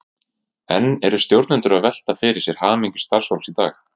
En eru stjórnendur að velta fyrir sér hamingju starfsfólks í dag?